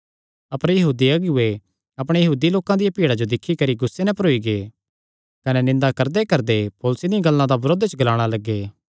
अपर यहूदी अगुऐ अपणे यहूदी लोकां दियां भीड़ा जो दिक्खी करी गुस्से नैं भरोई गै कने निंदा करदेकरदे पौलुसे दियां गल्लां दा बरोध च ग्लाणा लग्गे